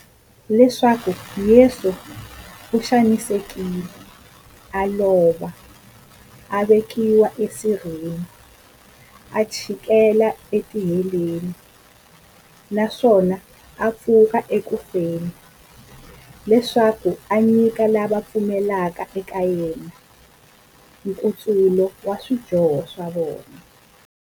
Leswaku Yesu u xanisekile, a lova, a vekiwa esirheni, a chikela etiheleni, naswona a pfuka eku feni, leswaku a nyika lava va pfumelaka eka yena, nkutsulo wa swidyoho swa vona.